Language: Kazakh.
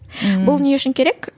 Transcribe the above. бұл не үшін керек